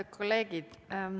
Head kolleegid!